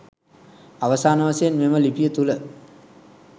අවසාන වශයෙන් මෙම ලිපිය තුළ